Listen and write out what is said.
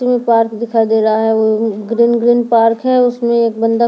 में पार्क दिखाई दे रहा है वो ग्रीन ग्रीन पार्क है उसमें एक बंदा--